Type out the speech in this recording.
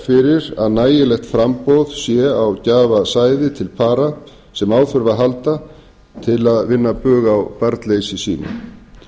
fyrir að nægilegt framboð sé á gjafasæði til para sem á þurfa að halda til að vinna bug á barnleysi sínu